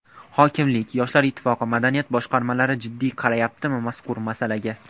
Hokimlik, Yoshlar Ittifoqi, madaniyat boshqarmalari jiddiy qarayaptimi mazkur masalaga?